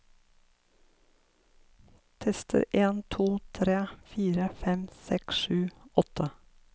Tester en to tre fire fem seks sju åtte